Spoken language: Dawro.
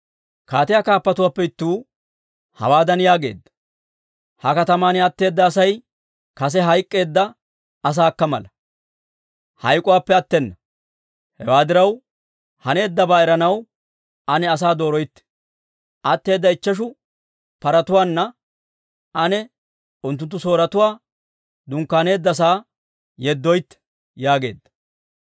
Kaatiyaa kaappatuwaappe ittuu, hawaadan yaageedda; «Ha kataman atteeda Asay kase hayk'k'eedda asaakka mala; hayk'k'uwaappe attena. Hewaa diraw, haneeddabaa eranaw ane asaa dooroytte. Atteeda ichcheshu paratuwaana ane unttunttu Sooretuu dunkkaaneeddasaa yeddoytte» yaageedda.